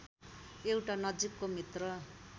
एउटा नजिकको मित्र